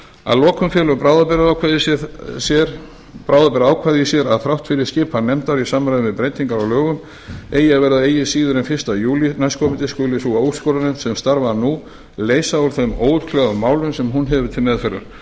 að lokum felur bráðabirgðaákvæði í sér að þrátt fyrir að skipan nefndar í samræmi við breytingar á lögum eigi að verða eigi síður en fyrsta júlí næstkomandi skuli sú úrskurðarnefnd sem starfar nú leysa úr þeim óútkljáðu málum sem hún hefur til meðferðar þetta